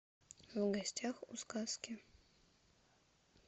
в гостях у сказки